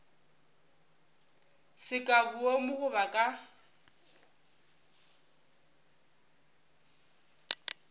se ka boomo goba ka